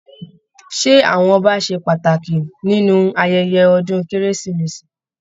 Ṣé àwọn Ọba ṣe pàtàkì nínú ayẹyẹ ọdún kérésìmesì?